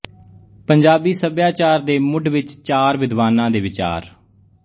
ਪੰਜਾਬੀ ਸੱਭਿਆਚਾਰ ਦੇ ਮੁੱਢ ਵਿੱਚ ਚਾਰ ਵਿਦਵਾਨਾਂ ਦੇ ਵਿਚਾਰ